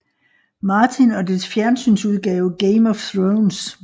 Martin og dets fjernsynsudgave Game of Thrones